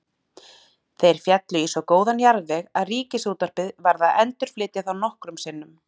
Þeir féllu í svo góðan jarðveg að Ríkisútvarpið varð að endurflytja þá nokkrum sinnum.